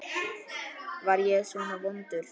Var ég svona vondur?